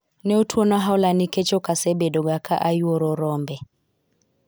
ne otwona hola nikech okasebedo ga ka ayuoro rombe